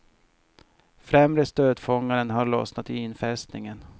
Främre stötfångaren har lossnat i infästningen.